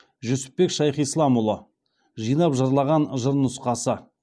жүсіпбек шайхисламұлы жинап жырлаған нұсқасы